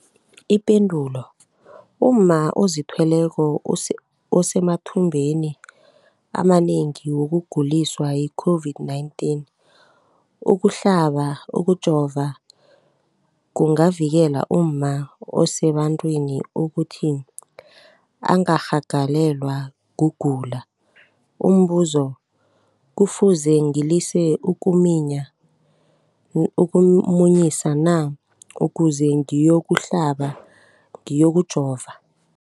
Ipendulo, umma ozithweleko usemathubeni amanengi wokuguliswa yi-COVID-19. Ukuhlaba, ukujova kungavikela umma osebantwini ukuthi angarhagalelwa kugula. Umbuzo, kufuze ngilise ukumunyisa na ukuze ngiyokuhlaba, ngiyokujova?